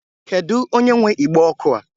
Kedu onye nwe igbe ọkụ a?